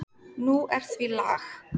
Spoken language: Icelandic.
Nú er því lag.